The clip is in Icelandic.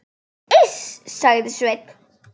Iss, sagði Sveinn.